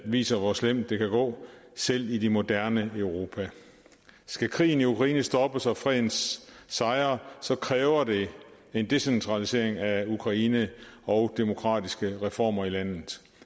viser hvor slemt det kan gå selv i det moderne europa skal krigen i ukraine stoppes og freden sejre så kræver det en decentralisering i ukraine og demokratiske reformer i landet